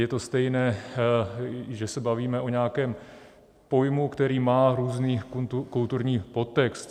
Je to stejné, že se bavíme o nějakém pojmu, který má různý kulturní podtext.